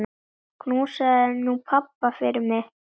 Knúsaðu nú pabba fyrir mig.